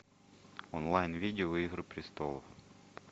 онлайн видео игры престолов